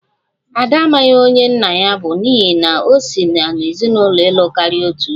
Ada amaghị onye nna ya bụ, n'ihi na o si n'ezinụlọ ịlụ karia otu di